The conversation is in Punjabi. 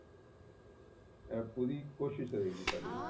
ਇਹ ਪੂਰੀ ਕੋਸ਼ਿਸ ਰਹੇਗੀ ਸਾਡੀ